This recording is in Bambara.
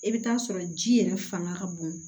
I bɛ taa sɔrɔ ji yɛrɛ fanga ka bon